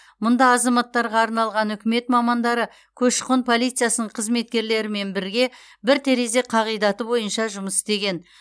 мұнда азаматтарға арналған үкімет мамандары көші қон полициясының қызметкерлерімен бірге бір терезе қағидаты бойынша жұмыс істеген